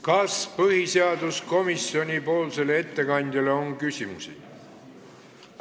Kas põhiseaduskomisjoni ettekandjale on küsimusi?